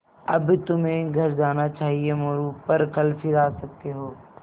अब तुम्हें घर जाना चाहिये मोरू पर कल फिर आ सकते हो